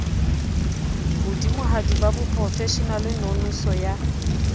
hodimohadi ba boprofeshenale nonoso ya